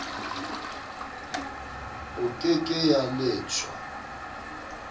e ke ke ya leshwa